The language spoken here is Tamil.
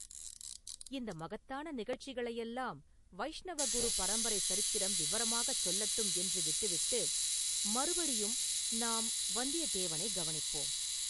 இந்த மகத்தான நிகழ்ச்சிகளையெல்லாம் வைஷ்ணவ குரு பரம்பரைச் சரித்திரம் விவரமாகச் சொல்லட்டும் என்று விட்டுவிட்டு, மறுபடியும் நாம் வந்தியத்தேவனைக் கவனிப்போம்.